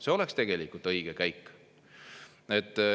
See oleks tegelikult õige käik.